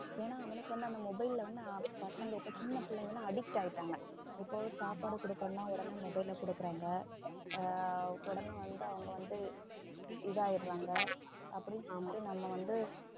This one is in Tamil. ஏன்னா அவனுக்கு வந்து அந்த mobile ல வந்து பசங்க இப்ப சின்ன பிள்ளைங்க எல்லாம் addict ஆயிட்டாங்க, இப்ப சாப்பாடு குடுக்கணும்னா உடனே mobile ல குடுக்குறாங்க ஆஹ் உடனே வந்து அவங்க வந்து இது ஆயிடறாங்க அப்படி வந்து நம்ம வந்து